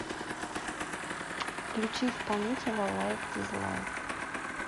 включи исполнителя лайк дизлайк